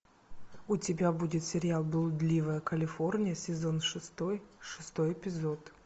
у тебя будет сериал блудливая калифорния сезон шестой шестой эпизод